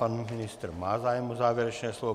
Pan ministr má zájem o závěrečné slovo.